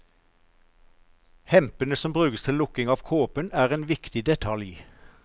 Hempene som brukes til lukking av kåpen er en viktig detalj.